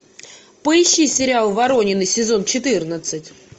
поищи сериал воронины сезон четырнадцать